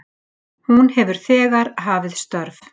Hún hefur þegar hafið störf